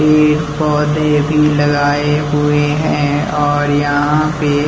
पेड़-पौधे भी लगाए हुए हैं और यहाँ पे--